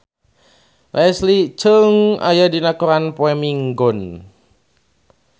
Leslie Cheung aya dina koran poe Minggon